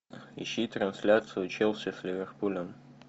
ищи трансляцию челси с ливерпулем